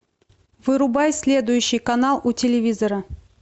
вырубай следующий канал у телевизора